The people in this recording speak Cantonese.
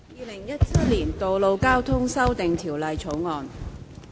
《2017年道路交通條例草案》。